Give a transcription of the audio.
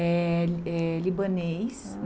É é libanês.